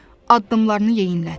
addımlarını yeyinlət.